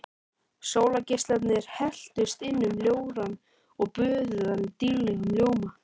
Sólargeislarnir helltust inn um ljórann og böðuðu hann dýrlegum ljóma.